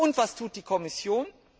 Und was tut die Kommission?